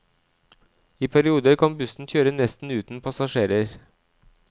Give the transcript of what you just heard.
I perioder kan bussen kjøre nesten uten passasjerer.